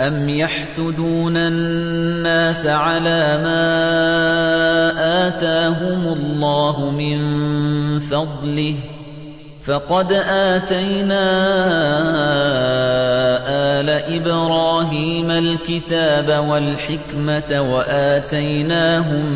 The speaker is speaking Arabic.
أَمْ يَحْسُدُونَ النَّاسَ عَلَىٰ مَا آتَاهُمُ اللَّهُ مِن فَضْلِهِ ۖ فَقَدْ آتَيْنَا آلَ إِبْرَاهِيمَ الْكِتَابَ وَالْحِكْمَةَ وَآتَيْنَاهُم